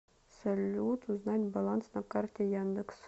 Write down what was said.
салют узнать баланс на карте яндекс